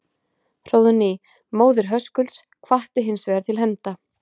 Hróðný, móðir Höskulds, hvatti hins vegar til hefnda.